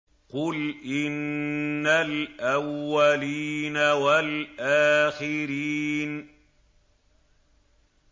قُلْ إِنَّ الْأَوَّلِينَ وَالْآخِرِينَ